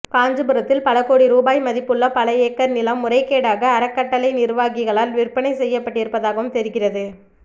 காஞ்சிபுரத்தில் பல கோடி ரூபாய் மதிப்புள்ள பல ஏக்கர் நிலம் முறைகேடாக அறக்கட்டளை நிர்வாகிகளால் விற்பனை செய்யப்பட்டிருப்பதாகவும் தெரிகிறது